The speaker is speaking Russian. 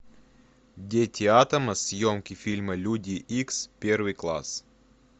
дети атома съемки фильма люди икс первый класс